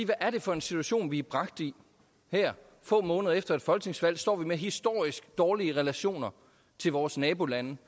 hvad er det for en situation vi er bragt i her få måneder efter et folketingsvalg står vi med historisk dårlige relationer til vores nabolande